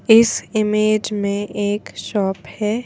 इस इमेज में एक शॉप है।